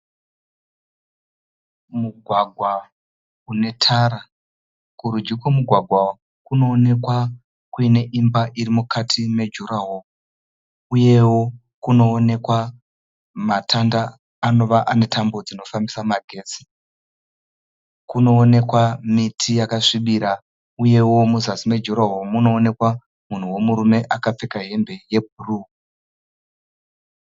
Mugwagwa une tara. Kurudyi kwemugwagwa kunoonekwa kuine imba iri mukati mejuraho uyewo kunoonekwa matanda anova ane tambo dzinofambisa magetsi. Kunoonekwa miti yakasvibira uyewo muzasi mejuraho munoonekwa munhu wemurume akapfeka hembe dzebhuruu.